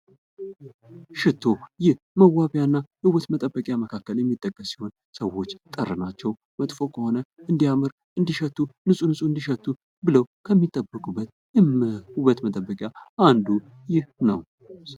ሽቶ ይህ መዋቢያና ውበት መጠበቂያ መካከል የሚጠቀስ ሲሆን ሰዎች ጠረናቸው መጥፎ ከሆነ እንዲያምር እንዲሸቱ ንጹህ ንፁህ እንዲሸቱ ብሎም ከሚጠበቁበት የውበት መጠበቂያ አንዱ ይህ ነው።